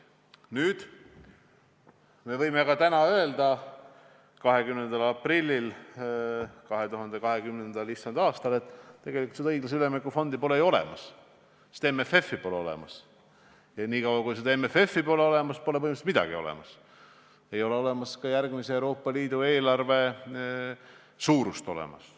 Nüüd, me võime ka täna, 20. aprillil 2020. aastal öelda, et tegelikult pole õiglase ülemineku fondi ju olemas, sest MFF-i pole olemas, ja niikaua, kui MFF-i pole olemas, pole põhimõtteliselt midagi olemas, pole olemas ka järgmise Euroopa Liidu eelarve suurust.